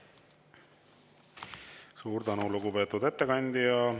Suur tänu, lugupeetud ettekandja!